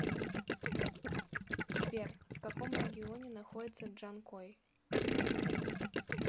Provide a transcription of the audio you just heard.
сбер в каком регионе находится джанкой